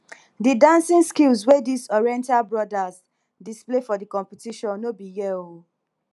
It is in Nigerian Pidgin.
the dancing skills wey dis oriental brothers display for di competition no be here o